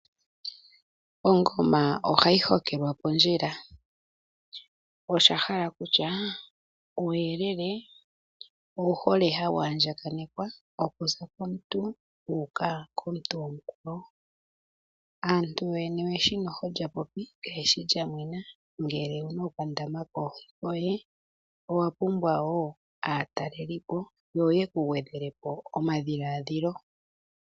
Ongoma ohayi hokelwa pondjila. Osha hala kutya uuyelele owu hole hawu andjakanekwa okuza komuntu wu uka komuntu omukwawo. Aantu yo yene oye shi lya popi kaye shi lya mwena. Ngele owu na okandama koohi koye owa pumbwa wo aatalelipo yo ye ku gwedhele po omadhiladhilo.